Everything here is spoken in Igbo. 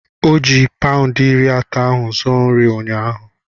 Ọ ji paụndị iri atọ ahụ zuo nri ụnyaahụ.